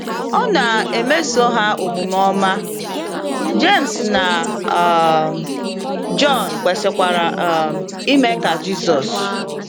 Ọ na - emeso ha omume ọma, Jems na um Jọn kwesịkwara um ime ka Jizọs.